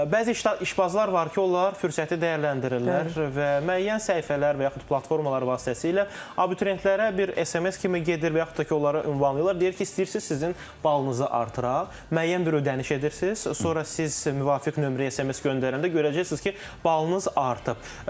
Bəzi işbazlar var ki, onlar fürsəti dəyərləndirirlər və müəyyən səhifələr və yaxud platformalar vasitəsilə abituriyentlərə bir SMS kimi gedir və yaxud da ki, onları ünvanlayırlar, deyir ki, istəyirsiniz sizin balınızı artıraq, müəyyən bir ödəniş edirsiz, sonra siz müvafiq nömrəyə SMS göndərəndə görəcəksiniz ki, balınız artıb.